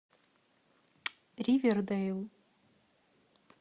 ривердейл